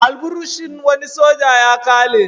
Alburushin wani soja ya ƙare.